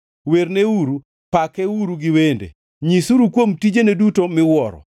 Werneuru, pakeuru gi wende, nyisuru kuom tijene duto miwuoro.